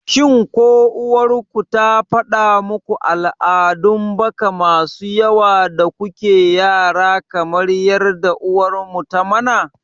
shin ko uwar ku ta faɗa muku al'adun baka masu yawa da kuke yara kamar yadda uwar mu ta mana?